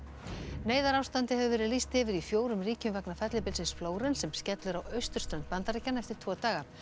neyðarástandi hefur verið lýst yfir í fjórum ríkjum vegna fellibylsins Flórens sem skellur á austurströnd Bandaríkjanna eftir tvo daga